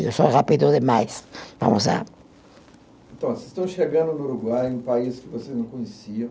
Eu sou rápido demais, vamos lá. Então, vocês estão chegando no Uruguai, um país que vocês não conheciam.